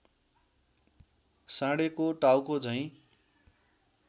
साँढेको टाउको झैँ